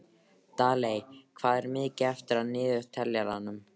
Daley, hvað er mikið eftir af niðurteljaranum?